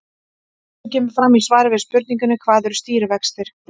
Eins og kemur fram í svari við spurningunni Hvað eru stýrivextir?